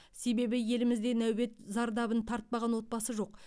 себебі елімізде нәубет зардабын тартпаған отбасы жоқ